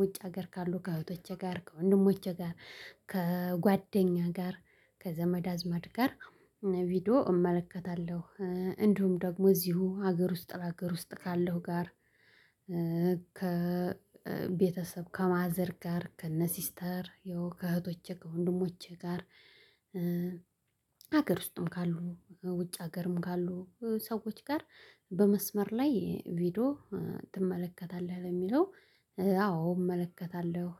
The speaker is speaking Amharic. ውጭ ሀገር ካሉ ከእህቶቼ ጋር ከወንድሞቼ ጋር ከጓደኛ ጋር ከዘመድ አዝማድ ጋር ቪዲዮ እመለከታለሁ። እንዲሁም ደግሞ እዚሁ ሀገር ውስጥ ለሀገር ውስጥ ካለው ጋር ከቤተሰብ ከማዘር ጋር ከነሲስተር ያው ከእህቶቼ ከወንድሞቼ ጋር። ሀገር ውስጥም ካሉ ውጭ ሀገርም ካሉ ሰዎች ጋር። በመስመር ላይ ቪዲዮ ትመለከታለህ ለሚለው? አዎ እመለከታለሁ።